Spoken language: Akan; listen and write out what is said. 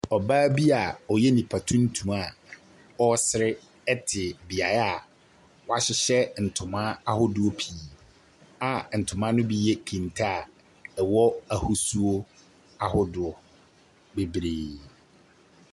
Ɔbaa bi a ɔyɛ nnipa tuntum a ɔresere te beaeɛ a wɔahyehyɛ ntoma ahodoɔ pii, a ntoma no bi yɛ kente a ɛwɔ ahosuo ahodoɔ bebree.